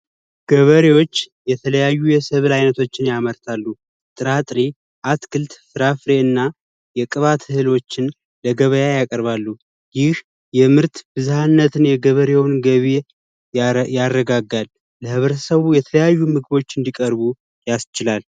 ገበሬዎች የተለያዩ የሰብል አይነቶች ያመርታሉ ጥራጥሬ ፣አትክልት ፣ፍራፍሬ እና የቅባት እህሎችን ለገበያ ያቀርባሉ። ይህ የምርት ብዝሀነት የገበሬውን ገቢ ያረጋጋል። ለህብረተሰቡ የተለያዩ ምግቦች እንዲቀርቡ ያስችላል።